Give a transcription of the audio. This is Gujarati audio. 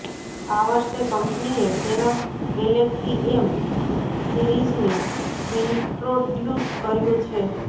આ વર્ષે કંપનીએ તેના ગેલેક્સી એમ સીરીઝને ઇન્ટ્રોડ્યુસ કર્યું છે